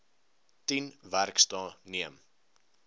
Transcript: tien werksdae neem